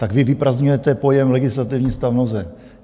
Tak vy vyprazdňujete pojem "legislativní stav nouze".